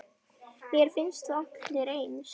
Mér finnst þið allir eins.